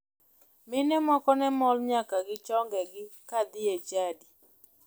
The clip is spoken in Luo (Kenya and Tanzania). Mine moko ne mol nyaka gi chongegi kadhie e chadi.